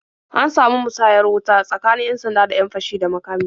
An samu musayar wuta tsakanin 'yan-sanda da 'yan fashi da makami.